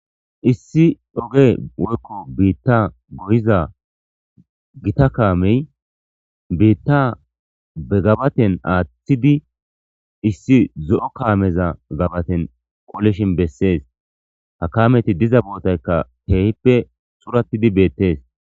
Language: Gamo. issi dhoge woykko biitta goyiza gita kaamey biitta begabaten aaththidi issi zo7o kaameza gabaten qolishin bessees ha kaameti diza bootaykka teehippe suratidi beettees